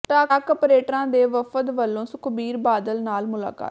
truck ਅਪਰੇਟਰਾਂ ਦੇ ਵਫ਼ਦ ਵੱਲੋਂ ਸੁਖਬੀਰ ਬਾਦਲ ਨਾਲ ਮੁਲਾਕਾਤ